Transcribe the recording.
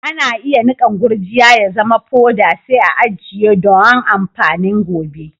Ana iya nikan gurjiya ya zama poda sai a'ajie doan amfanin gobe.